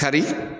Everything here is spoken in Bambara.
Kari